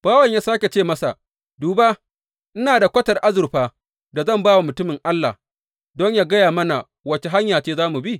Bawan ya sāke ce masa, Duba ina da kwatar azurfar da zan ba wa mutumin Allah don yă gaya mana wace hanya ce za mu bi.